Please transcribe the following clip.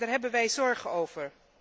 Daar hebben wij zorgen over.